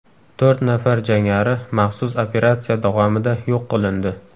To‘rt nafar jangari maxsus operatsiya davomida yo‘q qilindi.